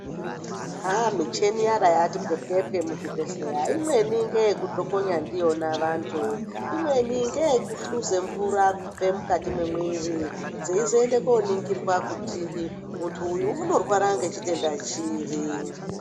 Haa micheni yaera yati pwepwepwe muzvibhedhleya, Imweni ngeyekudhokonya ndiyona vantu. Imweni ngeyekuhluze mvura kubve mukati mwemwiiri, dzeyizoende koningirwa kuti muntu uyu unorwara ngechitenda chiri.